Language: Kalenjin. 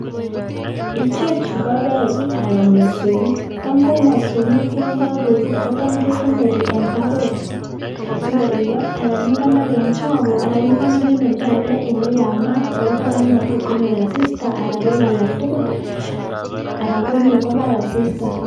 Ichechu ko beek aran mosong'ik, tam ko mosong'ik yoon kokebut kotam kekonori en tabot sikoribok aran ikonor en choko aran ikonor en oldake oleyamanat olematot konyor asista aran beek arak tukul aran konyo kobar asista.